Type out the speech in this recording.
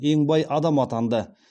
ең бай адам атанды